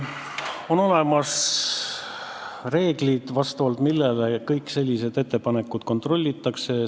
On olemas reeglid, millele vastavalt kõiki selliseid ettepanekuid kontrollitakse.